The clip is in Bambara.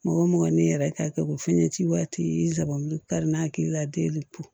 Mɔgɔ mɔgɔ ni yɛrɛ ka kɛ ko fini ci waati zanban kari n'a hakilila denw